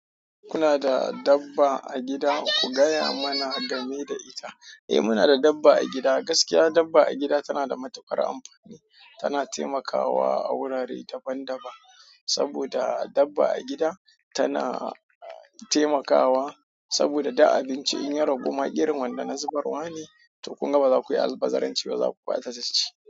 Kuna da dabba a gida? Ku gaya mana game da ita. Eh muna da dabba a gida. Gaskiya dabba a gida tana da matuƙar amfani. Tana taimakawa gurare daban-daban. Saboda dabba a gida tana taimakawa. Saboda duk abinci in ya ragu ma irin wanda na zubarwa ne, toh kunga baza kuyi, albazaranci ba zaku ba ta tashi.